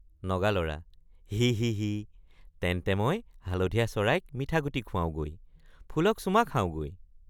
নগালৰা—হিঃহিঃহিঃ তেন্তে মই হালধীয়া চৰাইক মিঠা গুটি খুৱাওঁগৈ ফুলক চুমা খাওঁগৈ।